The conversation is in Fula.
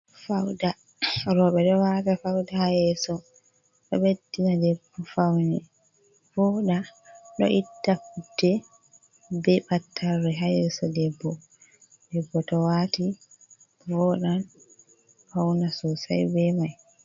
Fauda roɓe ɗo wata fauda ha yeso ɗo beddina debbo faune voɗa, ɗo itta putte be battarre ha yeso debbo debbo to wati vodan fauna sosai be mai.